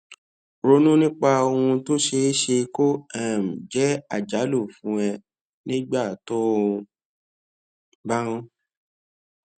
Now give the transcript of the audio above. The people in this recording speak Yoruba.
ronú nípa ohun tó ṣeé ṣe kó um jé àjálù fún ẹ nígbà tó o bá ń